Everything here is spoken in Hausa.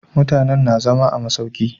Mutanen na zama a masauki